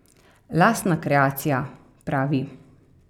Lastna kreacija, pravi.